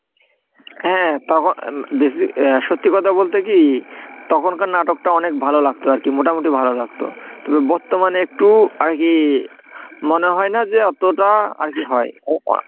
হ্যাঁ তখন বেশি অ্যা সত্যি কথা বলতে কি তখনকার নাটকটা অনেক ভালো লাগতো আর কি মোটামুটি ভালো লাগতো তবে বর্তমানে একটু আর কি, মনে হয় না যে এতটা আর কি হয়।